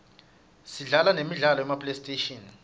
sidlala nemidlalo yema playstation